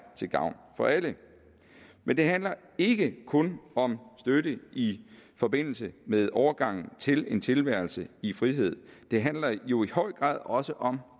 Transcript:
til gavn for alle men det handler ikke kun om støtte i forbindelse med overgangen til en tilværelse i frihed det handler jo i høj grad også om